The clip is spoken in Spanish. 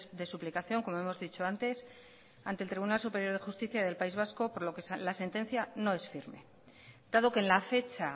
de suplicación como hemos dicho antes ante el tribunal superior de justicia del país vasco por lo que la sentencia no es firme dado que en la fecha